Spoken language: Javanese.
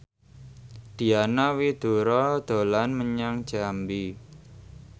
Diana Widoera dolan menyang Jambi